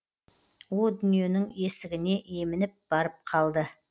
о дүниенің есігіне емініп барып қалды